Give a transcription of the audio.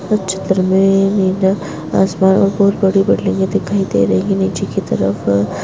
इस चित्र में हमे ना आसपास बहोत बड़ी बिल्डिंग दिखाई दे रही हैं नीचे की तरफ --